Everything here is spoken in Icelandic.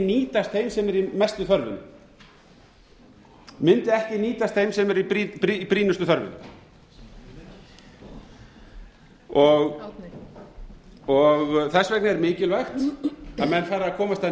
nýtast þeim sem eru í mestu þörfinni mundi ekki nýtast þeim sem er í brýnustu þörfinni þess vegna er mikilvægt að menn fari að komast að